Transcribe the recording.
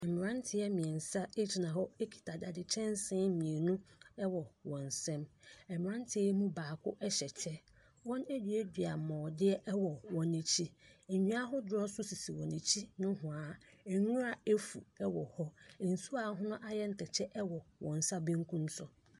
Mmranteɛ gyina hɔ kita dade kyɛnsee mmienu wɔ wɔn nsam. Mmranteɛ yi mu baako hyɛ kyɛ. Wɔaduadua borɔdeɛ wɔ hɔ. Nnua ahodoɔ nso sisi wɔn akyi nohwaa. Nwura afu wwɔ hɔ. Nsuo a ɛho ayɛ atɛkyɛ wɔ wɔn nsa benkum so.